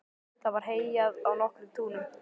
Það var heyjað á nokkrum túnum.